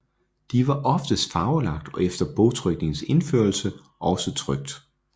De var oftest farvelagt og efter bogtrykningens indførelse også trykt